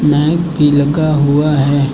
Mic भी लगा हुआ है।